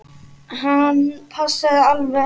Hann passaði alveg.